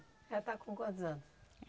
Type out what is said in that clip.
Ela está com quantos anos?